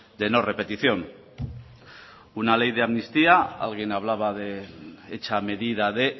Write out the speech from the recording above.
de no repetición una ley de amnistía alguien hablaba de hecha medida de